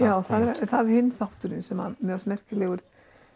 já það er hinn þátturinn sem að mér fannst merkilegur